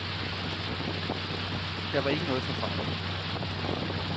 Der var ikke noget at tage fejl af.